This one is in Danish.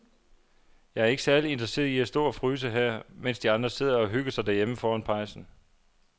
Jeg er ikke særlig interesseret i at stå og fryse her, mens de andre sidder og hygger sig derhjemme foran pejsen.